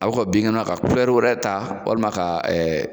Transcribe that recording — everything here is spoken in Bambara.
A bɛ ka binkɛnɛ ka kulɛri wɛrɛ ta walima ka